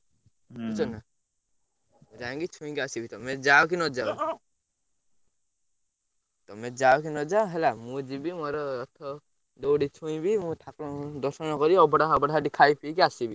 ବୁଝୁକ ନା ଯାଇଁକି ଛୁଇଁକି ଆସିବି ତମେ ଯାଅ କି ନଯାଅ ତମେ ଯାଅ କି ନଯାଅହେଲା ମୁଁ ଯିବି ମୋର ରଥ ଦଉଡି ଛୁଇଁବି ମୁଁ ଠାକୁରଙ୍କୁ ଦର୍ଶନ କରି ଅବଢା ଫବଢା ସେଠି ଖାଇ ପିକି ଆସିବି।